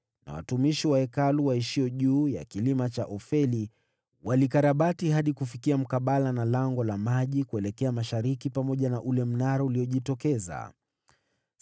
na watumishi wa Hekalu walioishi juu ya kilima cha Ofeli walikarabati hadi kufikia mkabala na Lango la Maji, kuelekea mashariki na ule mnara uliojitokeza.